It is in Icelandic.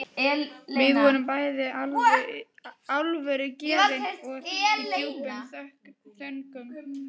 Við vorum bæði alvörugefin og í djúpum þönkum.